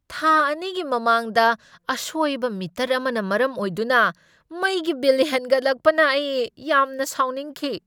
ꯊꯥ ꯑꯅꯤꯒꯤ ꯃꯃꯥꯡꯗ ꯑꯁꯣꯏꯕ ꯃꯤꯇꯔ ꯑꯃꯅ ꯃꯔꯝ ꯑꯣꯏꯗꯨꯅ ꯃꯩꯒꯤ ꯕꯤꯜ ꯍꯦꯟꯒꯠꯂꯛꯄꯅ ꯑꯩ ꯌꯥꯝꯅ ꯁꯥꯎꯅꯤꯡꯈꯤ꯫